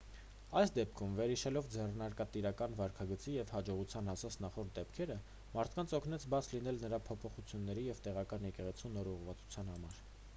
այս դեպքում վերհիշելով ձեռնարկատիրական վարքագծի և հաջողության հասած նախորդ դեպքերը մարդկանց օգնեց բաց լինել նոր փոփոխությունների և տեղական եկեղեցու նոր ուղղվածության համար